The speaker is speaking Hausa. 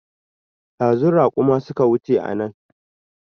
Ɗazu raƙuma suka wuce anan